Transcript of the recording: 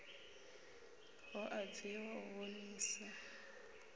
hu a bviwa u vhonisa